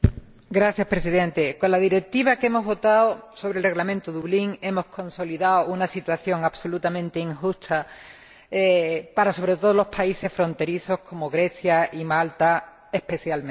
Señor Presidente, con la Directiva que hemos aprobado sobre el Reglamento de Dublín hemos consolidado una situación absolutamente injusta, sobre todo para los países fronterizos, como Grecia y Malta especialmente.